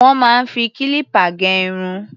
Wọ́n máa ń fi kílípà gé irun.